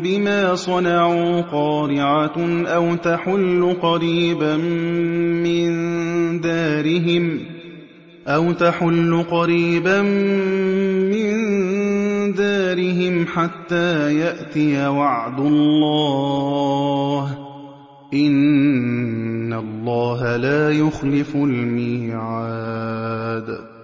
بِمَا صَنَعُوا قَارِعَةٌ أَوْ تَحُلُّ قَرِيبًا مِّن دَارِهِمْ حَتَّىٰ يَأْتِيَ وَعْدُ اللَّهِ ۚ إِنَّ اللَّهَ لَا يُخْلِفُ الْمِيعَادَ